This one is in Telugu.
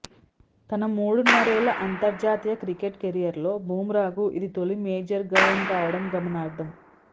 తన మూడున్నరేళ్ల అంతర్జాతీయ క్రికెట్ కెరీర్లో బుమ్రాకు ఇది తొలి మేజర్ గాయం కావడం గమనార్హం